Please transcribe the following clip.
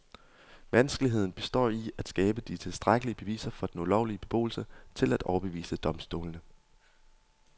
Vanskeligheden består i at skabe de tilstrækkelige beviser for den ulovlige beboelse til at overbevise domstolene.